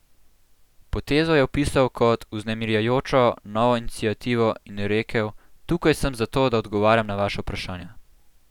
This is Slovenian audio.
Potezo je opisal kot "vznemirjajočo novo iniciativo" in rekel: "Tukaj sem zato, da odgovarjam na vaša vprašanja.